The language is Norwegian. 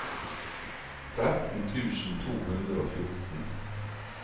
tretten tusen to hundre og fjorten